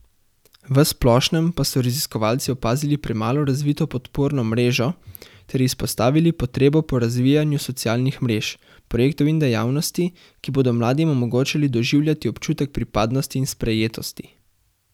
V splošnem pa so raziskovalci opazili premalo razvito podporno mrežo ter izpostavili potrebo po razvijanju socialnih mrež, projektov in dejavnosti, ki bodo mladim omogočali doživljati občutek pripadnosti in sprejetosti.